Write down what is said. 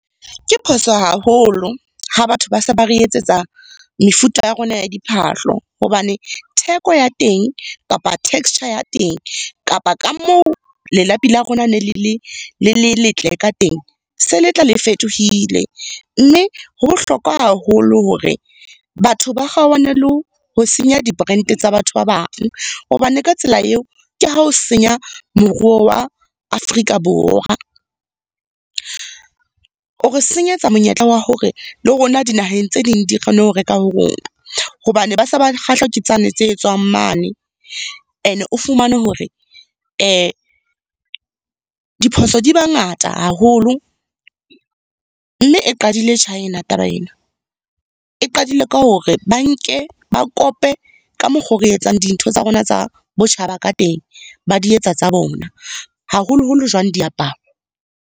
Ke phoso haholo ha batho ba se ba re etsetsa mefuta ya rona ya diphahlo, hobane theko ya teng, kapa texture ya teng, kapa ka moo lelapi la rona ne le le le letle ka teng se le tla le fetohile. Mme ho bohlokwa haholo hore batho ba kgaohane le ho senya di-brand tsa batho ba bang. Hobane ka tsela eo ke ha ho senya moruo wa Afrika Borwa. O re senyetsa monyetla wa hore le rona dinaheng tse ding di kgone ho reka ho rona, hobane ba se ba kgahlwa ke tsane tse etswang mane. Ene o fumane hore diphoso di ba ngata haholo. Mme e qadile China taba ena, e qadile ka hore ba nke, ba kope ka mokgo re etsang dintho tsa rona tsa botjhaba ka teng. Ba di etsa tsa bona, haholoholo jwang diaparo.